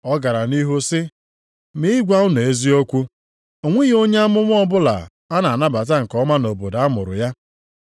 Ọ gara nʼihu sị, “Ma ị gwa unu eziokwu, o nweghị onye amụma ọbụla a na-anabata nke ọma nʼobodo a mụrụ ya.